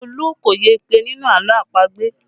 Olu kò yege nínú àlọ́ àpagbè